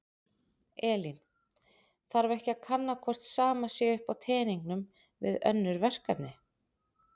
Elín: Þarf ekki að kanna hvort sama sé upp á teningnum við önnur verkefni?